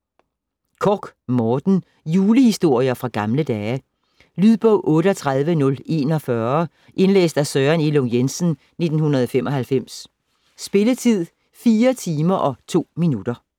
Korch, Morten: Julehistorier fra gamle dage Lydbog 38041 Indlæst af Søren Elung Jensen, 1995. Spilletid: 4 timer, 2 minutter.